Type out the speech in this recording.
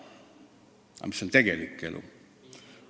Aga milline on tegelik elu?